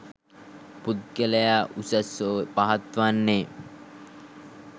පුද්ගලයා උසස් හෝ පහත් වන්නේ